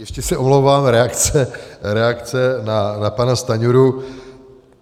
Ještě se omlouvám, reakce na pana Stanjuru.